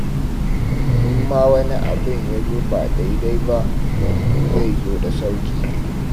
In ma wani abin ya zo ba daidai ba, to zai zo da sauƙi.